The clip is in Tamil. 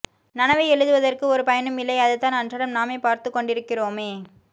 நனவை எழுதுவதற்கு ஒரு பயனும் இல்லை அதைத்தான் அன்றாடம் நாமே பார்த்துக்கொண்டிருக்கிறோமே